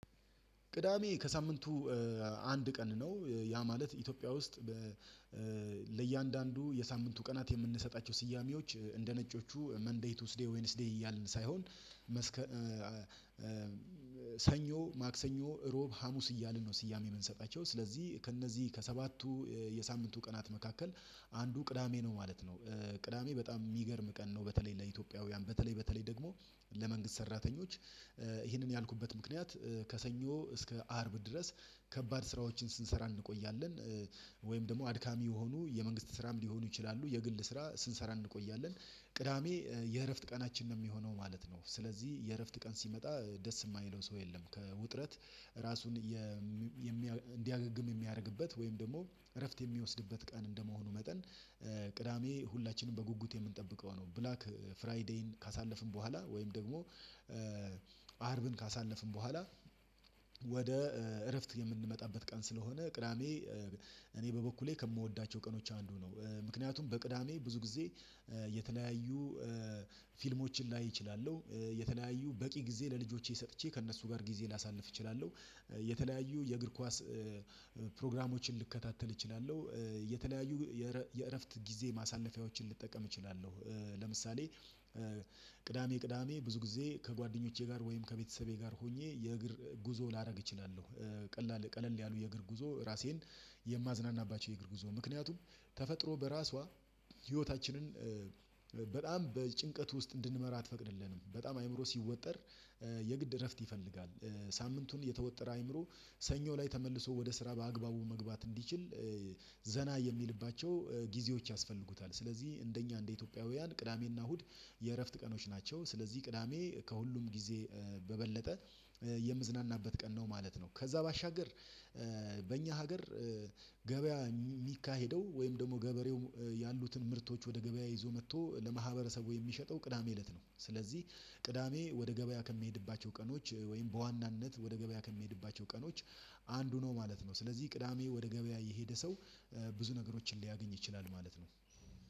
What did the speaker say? ቅዳሜ ከሳምንቱ አንድ ቀን ነው ያ ማለት ኢትዮጵያ ውስጥ። ለእያንዳንዱ የሳምንቱ ቀናት የምንሰጣቸው ስያሜዎች እንደ ነጮቹ መንዴይ ቱስዴይ ዌንስዴይ እያልን ሳይሆን መስከ ሰኞ ማክሰኞ ሮብ ሀሙስ እያልን ነው ስያሜ የምንሰጣቸው ስለዚህ ከእነዚህ ከሰባቱ የሳምንቱ ቀናት መካከል አንዱ ቅዳሜ ነው ማለት ነው። ቅዳሜ በጣም የሚገርም ቀን ነው። በተለይ ለኢትዮጵያውያን በተለይ በተለይ ደግሞ ለመንግስት ሰራተኞች ይህንን ያልኩበት ምክንያት ከሰኞ እስከ አርብ ድረስ ከባድ ስራዎችን ስንሰራ እንቆያለን። ወይም ደግሞ አድካሚ የሆኑ የመንግስት ስራም ሊሆኑ ይችላሉ የግል ስራ ስንሰራ እንቆያለን ቅዳሜ የእረፍት ቀናችን ነው የሚሆነው ማለት ነው። ስለዚህ የእረፍት ቀን ሲመጣ ደስ የማይለው ሰው የለም። ከውጥረት ራሱን እንዲያገግም የሚያደርግበት ወይም ደግሞ እረፍት የሚወስድበት ቀን እንደመሆኑ መጠን ቅዳሜ ሁላችንም በጉጉት የምንጠብቀው ነው። ብላክ ፍራይዴይን ካሳለፍን በኋላ ወይም ደግሞ አርብን ካሳለፍን በኋላ ወደ እረፍት የምንመጣበት ቀን ስለሆነ ቅዳሜ። እኔ በበኩሌ ከምወዳቸው ቀኖች አንዱ ነው። ምክንያቱም በቅዳሜ ብዙ ጊዜ የተለያዩ ፊልሞችን ላይ እችላለሁ። የተለያዩ በቂ ጊዜ ለልጆቼ ሰጥቼ ከእነሱ ጋር ጊዜ ላሳልፍ እችላለሁ። የተለያዩ የእግር ኳስ ፕሮግራሞችን ልከታተል እችላለሁ። የተለያዩ የእረፍት ጊዜ ማሳለፊያዎችን ልጠቀም እችላለሁ። ለምሳሌ ቅዳሜ ቅዳሜ ብዙ ጊዜ ከጓደኞቼ ጋር ወይም ከቤተሰቤ ጋር ሆኜ የእግር ጉዞ ላደርግ እችላለሁ። ቀለል ቀለል ያሉ የእግር ጉዞ ራሴን የማዝናናባቸው የእግር ጉዞ ምክንያቱም ተፈጥሮ በራሷ ህይወታችንን በጣም በጭንቀት ውስጥ እንድንመራ አትፈቅድልንም በጣም አይምሮ ሲወጠር የግድ እረፍት ይፈልጋል። ሳምንቱን የተወጠረ አይምሮ ሰኞ ላይ ተመልሶ ወደ ስራ በአግባቡ መግባት እንዲችል። ዘና የሚልባቸው ጊዜዎች ያስፈልጉታል ስለዚህ እንደኛ እንደ ኢትዮጵያውያን ቅዳሜና እሁድ የእረፍት ቀኖች ናቸው። ስለዚህ ቅዳሜ ከሁሉም ጊዜ በበለጠ የምዝናናበት ቀን ነው ማለት ነው። ከዛ ባሻገር በእኛ ሀገር ገበያ የሚካሄደው ወይም ደግሞ ገበሬው ያሉትን ምርቶች ወደ ገበያ ይዞ መጥቶ ለማህበረሰቡ የሚሸጠው ቅዳሜ እለት ነው። ስለዚህ ቅዳሜ ወደ ገበያ ከሚሄድባቸው ቀኖች ወይም በዋናነት ወደ ገበያ ከሚሄድባቸው ቀኖች አንዱ ነው ማለት ነው። ስለዚህ ቅዳሜ ወደ ገበያ የሄደ ሰው ብዙ ነገሮችን ሊያገኝ ይችላል ማለት ነው።